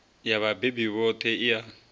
ya vhabebi vhoṱhe i a